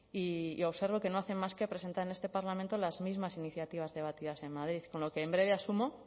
y observo que no hacen más que presentar en este parlamento las mismas iniciativas debatidas en madrid con lo que en breve asumo